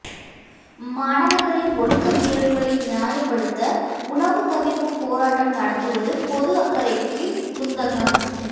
மாணவர்களின் ஒழுக்க மீறல்களை நியாயப்படுத்த உணவு தவிர்ப்பு போராட்டம் நடத்துவது பொது அக்கறைக்கு குந்தகம்